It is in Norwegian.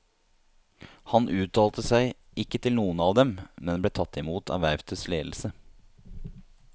Han uttalte seg ikke til noen av dem, men ble tatt i mot av verftets ledelse.